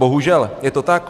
Bohužel, je to tak.